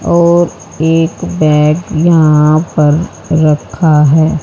और एक बैग यहां पर रखा है।